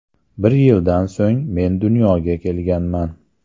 Bir yildan so‘ng men dunyoga kelganman.